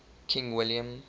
king william